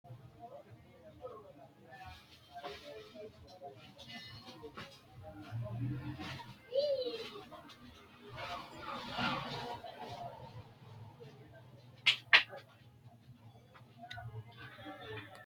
tini maa xawissanno misileeti? mulese noori maati? hiissinannite ise? tini kultannori jawa quchumaari, kuni jawu quchumi mamaati? mamiichono lawe leellanno'ne?